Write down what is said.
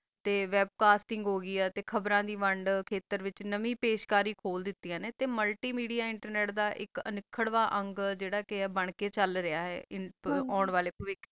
ਤਾ web web casting ਹੋ ਗੀ ਆ ਤਾ ਖਬਰ ਦੀ ਵੰਡ ਤਾ ਖਾਤੇਰ ਦਾ ਵਿਤਚ ਨਵੀ ਪਾਸ਼ ਕਰੀ ਹੋਣ ਦਾਤਿਆ ਨਾ ਤਾ multimedia ਖਰਵਾ ਜਯਾ ਅੰਗ ਆ ਚਲ ਰਹਾ ਆ ਓਂ ਵਾਲਾ ਪਾਵਾਟਰ ਦਾ